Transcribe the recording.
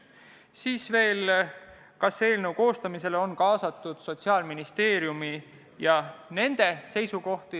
Küsiti veel, kas eelnõu koostamisse oli kaasatud Sotsiaalministeerium ja nende seisukohad.